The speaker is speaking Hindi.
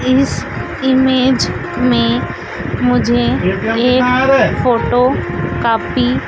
इस इमेज में मुझे एक फोटो कॉपी--